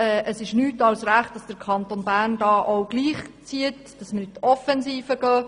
Es ist nur richtig, wenn der Kanton Bern gleichzieht und in die Offensive geht.